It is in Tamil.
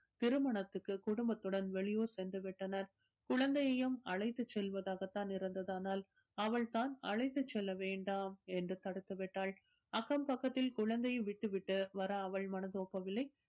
திருமணத்திற்கு குடும்பத்துடன் வெளியூர் சென்று விட்டனர். குழந்தையையும் அழைத்துச் செல்வதாகத் தான் இருந்தது ஆனால் அவள் தான் அழைத்துச் செல்ல வேண்டாம் என்று தடுத்து விட்டாள். அக்கம் பக்கத்தில் குழந்தையை விட்டு விட்டு வர அவள் மனதோ போகவில்லை